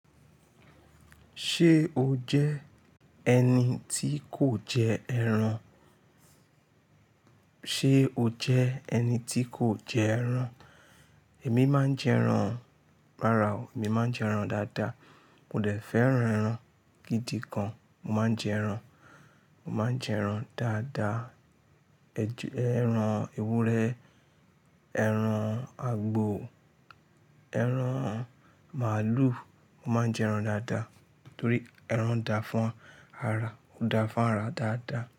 Ṣé o jẹ́ ẹni tí kò jẹ ẹran? Ṣé o jẹ́ ẹni tí kò jẹ ẹran? Èmi máa ń jẹ ẹran. Rárá o, èmi máa ń jẹ ẹran dáadáa. Mo dẹ̀ fẹ́ran ẹran gidi gan. Mo máa ń jẹ ẹran. Mo máa ń jẹ ẹran dáadáa. Ẹju, ẹran ewúrẹ́, ẹran àgbò, ẹran màálù. Mo máa ń jẹ ẹran dáadáa torí ẹran dà fún ara, ó dà fún ara dáadáa.